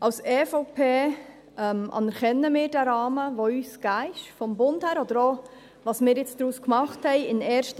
Die EVP anerkennt den Rahmen, der uns vom Bund her gegeben ist, oder auch, was wir in der ersten Lesung gemacht haben.